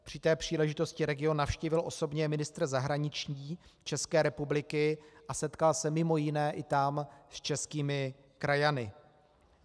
Při té příležitosti region navštívil osobně ministr zahraničí České republiky a setkal se mimo jiné i tam s českými krajany.